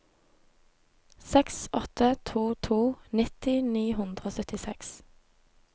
seks åtte to to nitti ni hundre og syttiseks